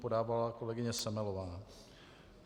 Podávala kolegyně Semelová.